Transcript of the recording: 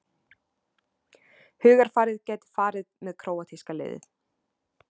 Hugarfarið gæti farið með króatíska liðið